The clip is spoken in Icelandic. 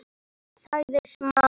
sagði Smári.